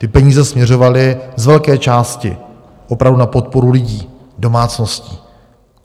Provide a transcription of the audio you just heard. Ty peníze směřovaly z velké části opravdu na podporu lidí, domácností.